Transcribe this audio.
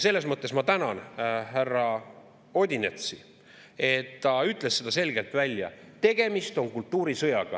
Selles mõttes ma tänan härra Odinetsi, et ta ütles selgelt välja, et tegemist on kultuurisõjaga.